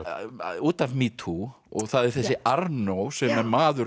út af metoo og það er þessi Arnault sem er maður